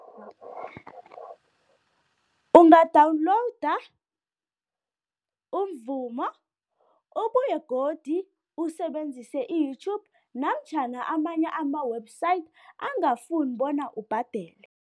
Unga-download umvumo, ubuye godu usebenzise i-YouTube namtjhana amanye ama-website angafuni bona ubhadele.